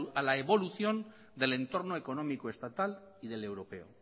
a la evolución del entorno económico estatal y del europeo